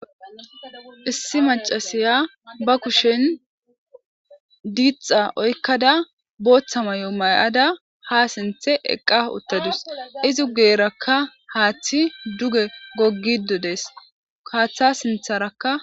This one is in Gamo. issi macasiya ba kushen diitha oykkada booththa may7o may7ada ha sinthe eqqa uttadus izi ugeerakka haaththi duge goggidodees kaaththa sintharakka